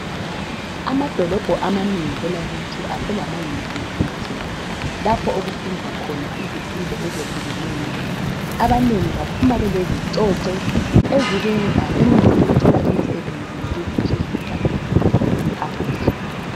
Anadolobho amanengi kwelakithi aselama University Lapho okufundwa khona izifundo ezehlukeneyo. Abanengi baphuma belezicocwe ezibenza benelise ukuthola imisebenzi yokuziphilisa phandle.